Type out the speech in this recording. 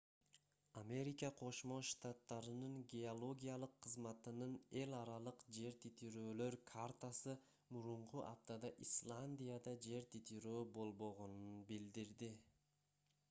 америка кошмо штаттарынын геологиялык кызматынын эл аралык жер титирөөлөр картасы мурунку аптада исландияда жер титирөө болбогонун билдирди